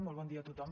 molt bon dia a tothom